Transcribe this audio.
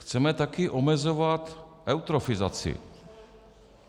Chceme taky omezovat eutrofizaci.